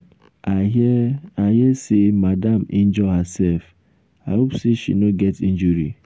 i hear i hear say madam injure herself. i hope say she no get injury.